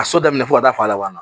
Ka so daminɛ fo ka taa fɔ a laban na